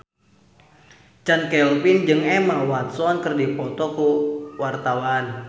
Chand Kelvin jeung Emma Watson keur dipoto ku wartawan